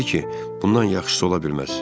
O dedi ki, bundan yaxşısı ola bilməz.